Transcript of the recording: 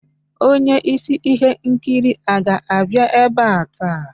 Onye isi ihe nkiri a ga-abịa ebe a taa?